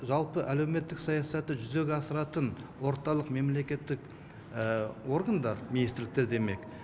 жалпы әлеуметтік саясатты жүзеге асыратын орталық мемлекеттік органдар министрліктер демек